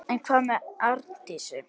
En hvað með Arndísi?